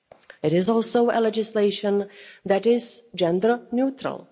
It is also legislation that is gender neutral